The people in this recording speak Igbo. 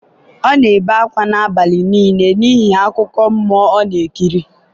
ọ na-ebe akwa n’abalị nile n’ihi akụkọ mmụọ ọ na-ekiri.